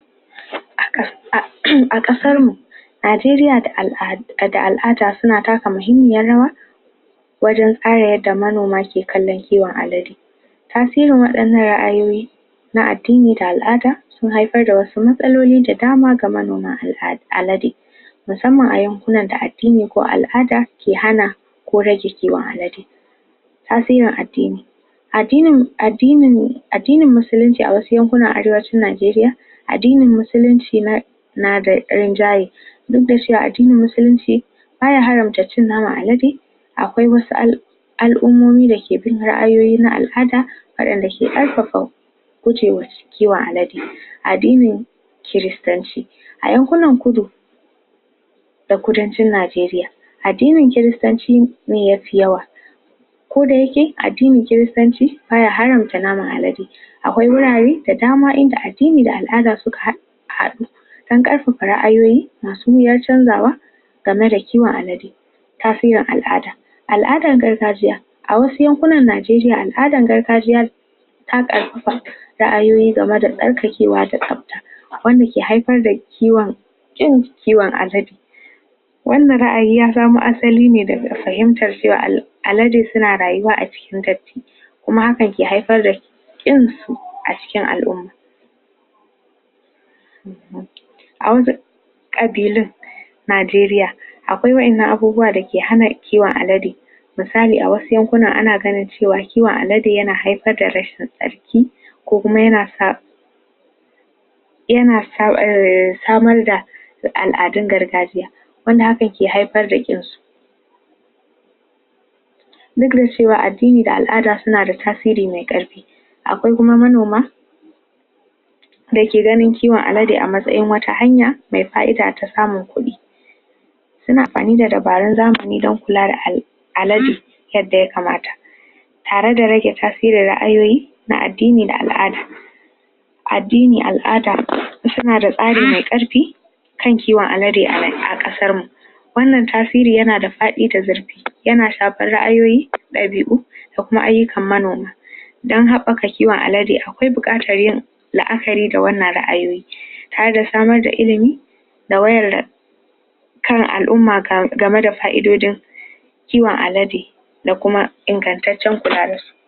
A kasar mu Najeriya da al'ada suna taka muhimmiyar rawa wajen da manoma ke kallon kiwon alade irin wadannan ra'ayoyi na addini da al'ada sun haifar da wasu matsaloli da dama ga manoma da alade Musamma a yankunan da addini ko al'ada ke hana ko rage kiwon alade Tasirin addini. Addini Addinin musulanci a wasu yankuna Najeriya addinin musulanci na na da dan duk da shi, addinin musulanci, baya hana alade akwai wasu al'umomi da ke bin ra'ayoyi na al'ada wadandake haifafa gujewan kiwon alade. Addinin Kiristanci a yankunan kudu, da kudancin Najeriya, addinin kiristanci ne ya fi yawa ko da yakke addinin kiristanci baya naman alade akwai wurare da dama in da addini da al'ada suka hada hadu don karfafa ra'ayoyi masu wuyar canjawa game da kiwon alade tafiyan al'ada al'adan gargajiya a wasu yankunan Najeriya, al'adan gargajiya ra'ayoyi game da tsarkakewa da tsabta wanda ke haifar da kiwon kiwon alade wannan ra'ayi ya zama asali da fahimtar cewa alade suna da rayuwa a cikin dadti kuma hakan ke haifar da kin su a cikin al'umma Najeriya akwai wadannan abubuwa da ke hana kiwon alade misali a wasu yankuna, ana gane cewa kiwon alade yana haifar da rashin tsaki ko kuma yana yana samar da al'adun gargajiya wanda hakan ke haifar da kinsu addini da al'ada suna da tasiri me karfi akwai kuma manoma da ke ganin kiwon alade a matsayin wata hanya me ka'ida ta samun kudi suna amfani da dabarun zamani dan kula da alade yadda ya kamata tare da rage tasirin ra'ayoyi na addini da al'ada addini, al'ada, suna da tsari me karfi kan kiwon alade a kasar mu wannan tasiri yana da fadi da zurfi yana shafar ra'ayoyi da bi'u na ayukan manoma don habbaka kiwon alade, akwai bukatan yin la'akari da wadannan ra'ayoyin ta da samar da illimi da da kan al'umma game da ka'idodin kiwon alade